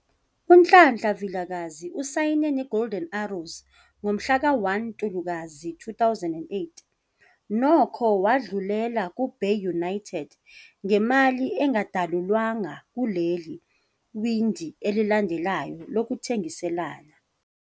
UNhlanhla Vilakazi usayine neGolden Arrows ngomhlaka 1 Ntulikazi 2008, nokho wadlulela kuBay United ngemali engadalulwanga kuleli windi elilandelayo lokuthengiselana.